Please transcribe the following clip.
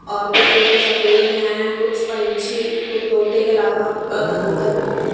और कुछ तोते सफेद हैं कुछ पंछी कुछ तोते के अलावा कबूतर भी हैं.